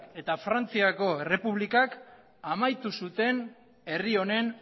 eta frantziako errepublikak amaitu zuten herri honen